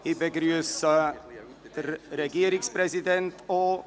Ich begrüsse den Regierungspräsidenten.